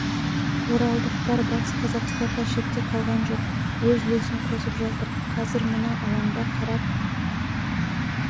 оралдықтар батыс қазақстан да шетте қалған жоқ өз үлесін қосып жатыр қазір мына алаңда қарап